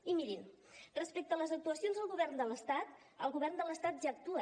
i mirin respecte a les actuacions del govern de l’estat el govern de l’estat ja actua